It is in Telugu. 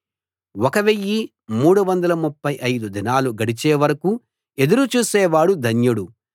1 335 దినాలు గడిచే వరకూ ఎదురు చూసేవాడు ధన్యుడు